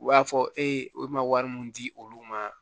U b'a fɔ e bɛ na wari mun di olu ma